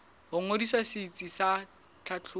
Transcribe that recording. ho ngodisa setsi sa tlhahlobo